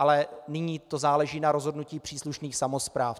Ale nyní to záleží na rozhodnutí příslušných samospráv.